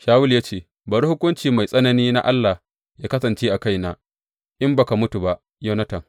Shawulu ya ce, Bari hukunci mai tsanani na Allah yă kasance a kaina, in ba ka mutu ba, Yonatan.